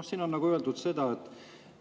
Siin on öeldud,